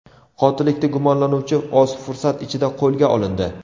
Qotillikda gumonlanuvchi oz fursat ichida qo‘lga olindi.